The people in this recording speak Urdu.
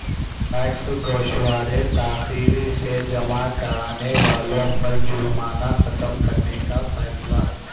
ٹیکس گوشوارے تاخیر سے جمع کرانے والوں پر جرمانہ ختم کرنے کا فیصلہ